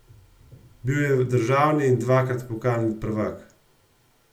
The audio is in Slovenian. Bil je državni in dvakrat pokalni prvak.